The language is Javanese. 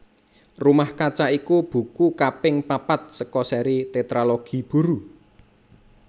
Rumah Kaca iku buku kaping papat saka séri Tétralogi Buru